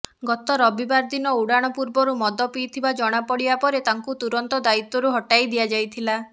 ଗତ ରବିବାର ଦିନ ଉଡ଼ାଣ ପୂର୍ବରୁ ମଦ ପିଇଥିବା ଜଣାପଡ଼ିବା ପରେ ତାଙ୍କୁ ତୁରନ୍ତ ଦାୟିତ୍ବରୁ ହଟାଇ ଦିଆଯାଇଥିଲା